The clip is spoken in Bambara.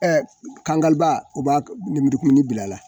kangaliba o b'a nemurukumuni bila a la.